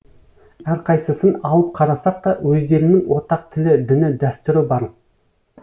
әрқайсысын алып қарасақ та өздерінің ортақ тілі діні дәстүрі бар